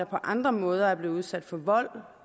på andre måder er blevet udsat for vold